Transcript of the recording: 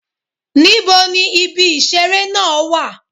Níbo ni ibi ìṣeré náà wà?